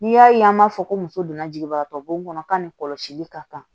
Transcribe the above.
N'i y'a ye an b'a fɔ ko muso donna jiginbagatɔ bon kɔnɔ ka nin kɔlɔsili ka kan